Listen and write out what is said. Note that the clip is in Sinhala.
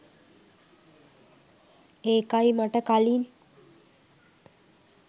ඒකයි මට කලින්